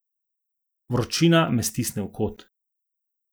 Vročina me stisne v kot.